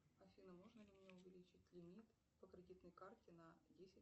афина можно ли мне увеличить лимит по кредитной карте на десять